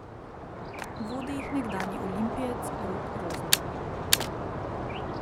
Vodi jih nekdanji olimpijec Rok Rozman.